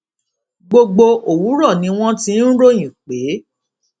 gbogbo òwúrọ ni wọn ti ń ròyìn pé